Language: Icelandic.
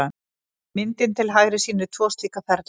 Myndin til hægri sýnir tvo slíka ferla.